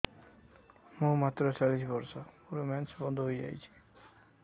ମୁଁ ମାତ୍ର ଚାଳିଶ ବର୍ଷ ମୋର ମେନ୍ସ ବନ୍ଦ ହେଇଯାଇଛି